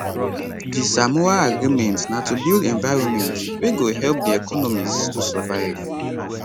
di samoa agreement na to build environment wey go help di economies to survive